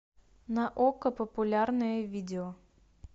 на окко популярные видео